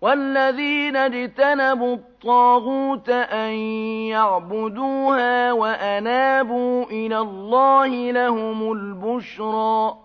وَالَّذِينَ اجْتَنَبُوا الطَّاغُوتَ أَن يَعْبُدُوهَا وَأَنَابُوا إِلَى اللَّهِ لَهُمُ الْبُشْرَىٰ ۚ